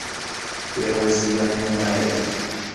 первое свидание райли